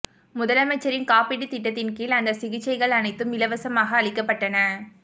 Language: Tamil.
முதலமைச்சரின் காப்பீட்டுத் திட்டத்தின் கீழ் அந்த சிகிச்சைகள் அனைத்தும் இலவசமாக அளிக்கப்பட்டன